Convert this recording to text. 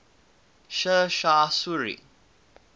sher shah suri